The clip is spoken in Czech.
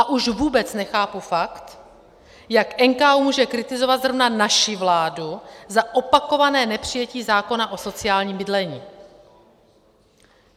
A už vůbec nechápu fakt, jak může NKÚ kritizovat zrovna naši vládu za opakované nepřijetí zákona o sociálním bydlení.